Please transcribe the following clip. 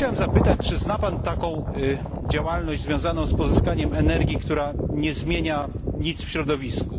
Chciałem zapytać, czy zna Pan taką działalność związaną z pozyskaniem energii, która nie zmienia nic w środowisku?